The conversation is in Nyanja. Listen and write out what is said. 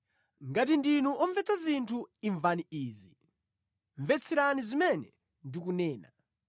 “Ngati ndinu omvetsa zinthu, imvani izi; mvetserani zimene ndikunena.